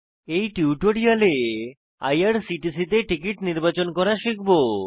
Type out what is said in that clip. এই টিউটোরিয়ালে আইআরসিটিসি তে টিকিট নির্বাচন করা শিখব